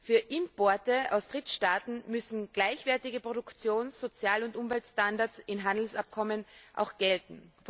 Für Importe aus Drittstaaten müssen gleichwertige Produktions Sozial und Umweltstandards in Handelsabkommen gelten.